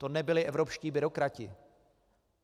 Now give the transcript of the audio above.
To nebyli evropští byrokrati.